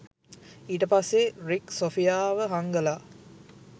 ඊටපස්සේ Rick සොෆියාව හංගලා